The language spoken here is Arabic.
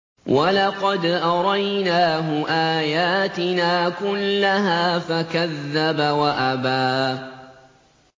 وَلَقَدْ أَرَيْنَاهُ آيَاتِنَا كُلَّهَا فَكَذَّبَ وَأَبَىٰ